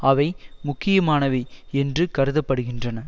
அவை முக்கியமானவை என்று கருத படுகின்றன